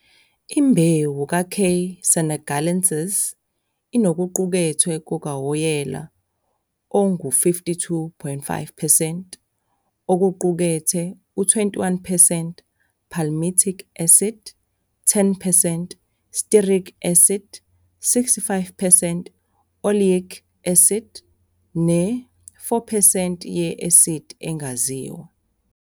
Imbewu ka "K. senegalensis" inokuqukethwe kukawoyela okungama-52.5 percent, okuqukethe i-21 percent palmitic acid, 10 percent stearic acid, 65 percent oleic acid, ne-4 percent "ye-asidi engaziwa"